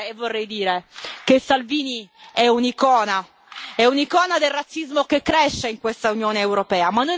Vorrei dire che Salvini è un'icona, è un'icona del razzismo che cresce in questa Unione europea.